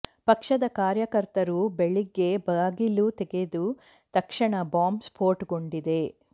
ಪಕ್ಷದ ಕಾರ್ಯಕರ್ತರು ಬೆಳಿಗ್ಗೆ ಬಾಗಿಲು ತೆಗೆದ ತಕ್ಷಣ ಬಾಂಬ್ ಸ್ಫೋಟಗೊಂಡಿದೆ